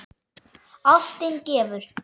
Ástin gefur.